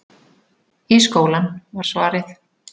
Í skólann, var svarið.